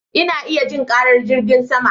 Ina iya jin karar jirgin sama